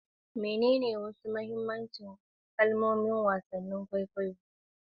Menene wasu mahimman kalmomi a cikin wasan kwaikwayo da fim, kamar harbin crane da gyarawa?